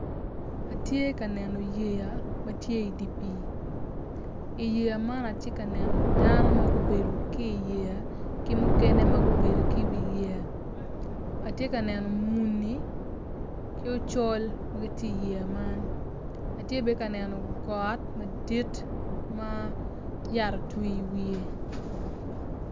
Atye ka neno yeya matye idye pii i yeya man atye ka neno dano ma gubedo ki iyeya ki mukene ma gubedo ki i wi yeya atye ka neno muni ki ocol ma gitye i yeya man atye bene ka neno got madit ma yat otwi i wiye